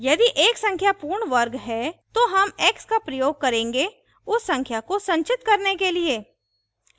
यदि एक संख्या पूर्ण वर्ग है तो हम x का प्रयोग करेंगे उस संख्या को संचित करने के लिए